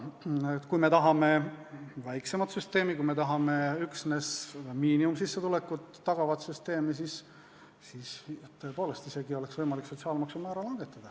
Kui me tahame väiksemat süsteemi, üksnes miinimumsissetulekut tagavat süsteemi, siis oleks tõepoolest isegi võimalik sotsiaalmaksu määra langetada.